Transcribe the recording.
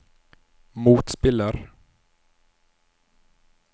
motspiller